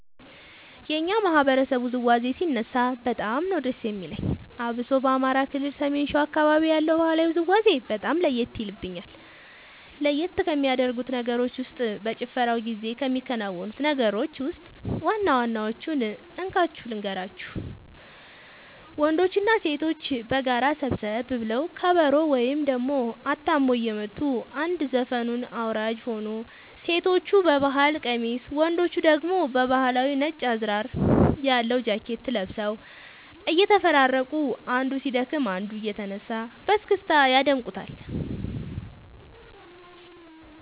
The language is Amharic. የኛ ማህበረሰብ ውዝዋዜ ሲነሳ በጣም ነዉ ደስ የሚለኝ አብሶ በአማራ ክልል ሰሜን ሸዋ አካባቢ ያለው ባህላዊ ውዝውዜ በጣም ለየት የልብኛል። ለየት ከሚያደርጉት ነገሮች ውስጥ በጭፈራው ጊዜ ከሚከናወኑት ነገሮች ውስጥ ዋና ዋናወቹን እንካችሁ ልንገራችሁ ወንዶችና ሴቶች በጋራ ሰብሰብ ብለው ከበሮ ወይም ደሞ አታሞ እየመቱ አንድ ዘፈኑን አወራራጅ ሆኖ ሴቶቹ በባህል ቀሚስ ወንዶቹ ደግሞ ባህላዊ ነጭ አዝራር ያለው ጃኬት ለብሰው እየተፈራረቁ አንዱ ሲደክም አንዱ እየተነሳ በስክስታ ያደምቁታል